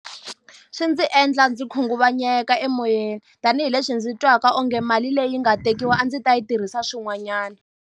Swi ndzi endla ndzi khunguvanyeka emoyeni, tanihileswi ndzi twaka onge mali leyi nga tekiwa a ndzi ta yi tirhisa swin'wanyana.